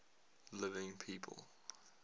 living people